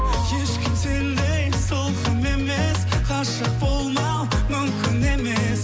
ешкім сендей сылқым емес ғашық болмау мүмкін емес